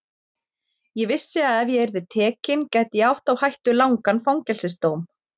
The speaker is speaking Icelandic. Ég vissi að ef ég yrði tekin gæti ég átt á hættu langan fangelsis dóm.